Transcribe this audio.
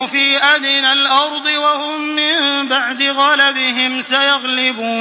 فِي أَدْنَى الْأَرْضِ وَهُم مِّن بَعْدِ غَلَبِهِمْ سَيَغْلِبُونَ